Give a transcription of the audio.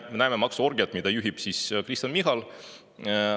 Me näeme maksuorgiat, mida juhib Kristen Michal.